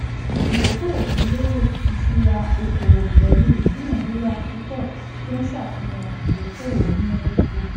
ìdókòwò tó lérè iṣúra okòwò pẹlú ìdúnàdúrà púpọ tó ń ṣàfihàn ìdókòwò múnádóko